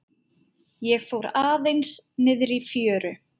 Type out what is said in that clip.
Ég fór aðeins niðrí fjöru.